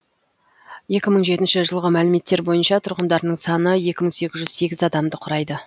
екі мың жетінші жылғы мәліметтер бойынша тұрғындарының саны екі мың сегіз жүз сегіз адамды құрайды